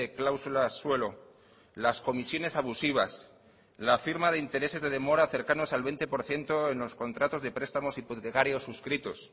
cláusulas suelo las comisiones abusivas la firma de intereses de demora cercanos al veinte por ciento en los contratos de prestamos hipotecarios suscritos